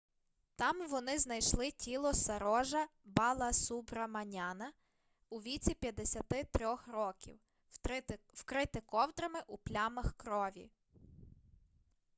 там вони знайшли тіло сарожа баласубраманяна у віці 53 років вкрите ковдрами у плямах крові